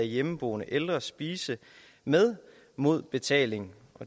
hjemmeboende ældre spise med mod betaling